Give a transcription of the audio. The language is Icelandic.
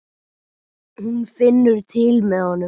Hún finnur til með honum.